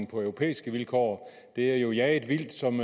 på europæiske vilkår de er jo jaget vildt som